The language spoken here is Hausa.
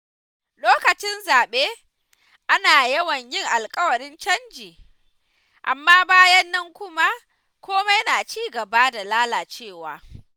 Lokacin zaɓe, ana yawan jin alƙawarin canji, amma bayan nan kuma komai na ci gaba da lalacewa.